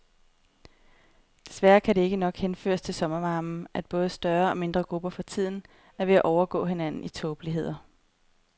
Desværre kan det nok ikke henføres til sommervarmen, at både større og mindre grupper for tiden er ved at overgå hinanden i tåbeligheder.